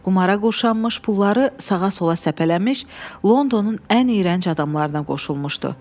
Qumara qoşanmış, pulları sağa-sola səpələmiş, Londonun ən iyrənc adamlarına qoşulmuşdu.